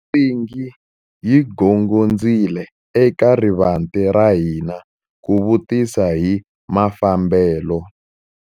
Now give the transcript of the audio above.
Nsingi yi gongondzile eka rivanti ra hina ku vutisa hi mafambelo.